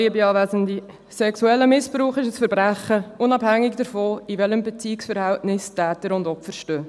Sexueller Missbrauch ist ein Verbrechen, unabhängig davon, in welchem Beziehungsverhältnis Täter und Opfer stehen.